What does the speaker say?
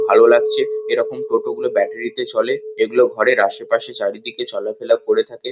ভালো লাগছে এইরকম টোটো গুলো ব্যাটারি -তে চলে এইগুলো ঘরের আশেপাশে চারিদিকে চলাফেরা করে থাকে।